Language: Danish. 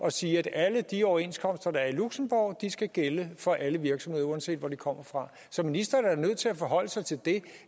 at sige at alle de overenskomster der i luxembourg skal gælde for alle virksomheder uanset hvor de kommer fra så ministeren er da nødt til at forholde sig til det